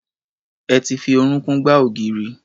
Ẹ ti fi orúnkún gbá ògiri.